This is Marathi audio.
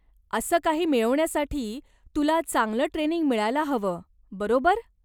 असं काही मिळवण्यासाठी तुला चांगलं ट्रेनिंग मिळायला हवं, बरोबर?